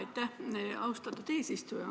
Aitäh, austatud eesistuja!